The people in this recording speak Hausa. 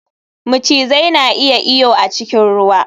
Macizai na iya iyo a cikin ruwa